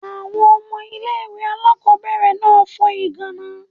Àwọn ọmọ ilé ìwé aláàkọ́bẹ̀rẹ̀ náà fo ìgàná.